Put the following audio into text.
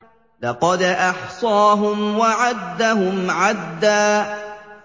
لَّقَدْ أَحْصَاهُمْ وَعَدَّهُمْ عَدًّا